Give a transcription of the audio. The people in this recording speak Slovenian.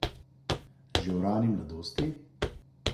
Že v rani mladosti?